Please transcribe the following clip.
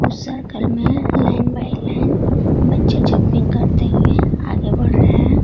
Circle में line by line बच्चे jumping करते हुए आगे बढ़ रहे हैं।